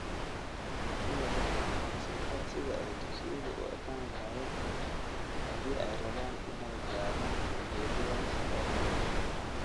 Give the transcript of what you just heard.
Sidaa darteed, ka soo qaad sida ay dugsiyadu u ekaan lahaayeen haddii ay rabaan inay gaadhaan ujeedadaas oo kale.